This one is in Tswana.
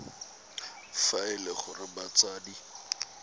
fa e le gore batsadi